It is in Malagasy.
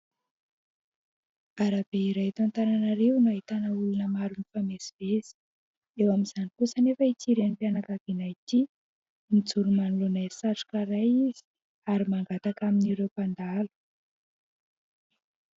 Arabe iray eto Antananarivo no ahitana olona maro mifamezivezy, eo amin'izany kosa anefa ity renim-pianakaviana ity, mijoro manoloana satroka iray izy ary mangataka amin'ireo mpandalo.